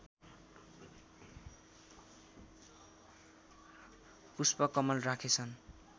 Pushpa Kamal राखेछन्